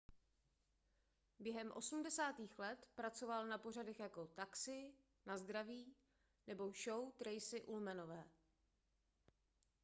během osmdesátých let pracoval na pořadech jako taxi na zdraví nebo show tracey ullmanové